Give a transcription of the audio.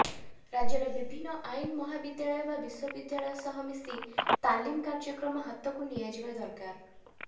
ରାଜ୍ୟର ବିଭିନ୍ନ ଆଇନ ମହାବିଦ୍ୟାଳୟ ବା ବିଶ୍ୱବିଦ୍ୟାଳୟ ସହ ମିଶି ତାଲିମ କାର୍ଯ୍ୟକ୍ରମ ହାତକୁ ନିଆଯିବା ଦରକାର